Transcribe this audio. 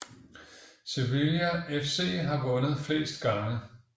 Sevilla FC har vundet flest gange